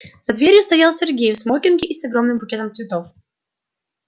за дверью стоял сергей в смокинге и с огромным букетом цветов